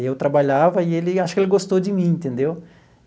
Eu trabalhava, e ele acho que ele gostou de mim, entendeu?